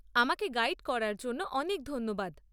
আমাকে গাইড করার জন্য অনেক ধন্যবাদ।